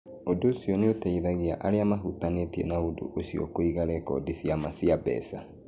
Ũndũ ũcio nĩ ũteithagia arĩa mahutanĩtie na ũndũ ũcio kũiga rekondi cia ma cia mbeca.